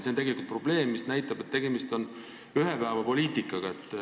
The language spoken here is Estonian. See näitab, et tegemist on ühepäevapoliitikaga.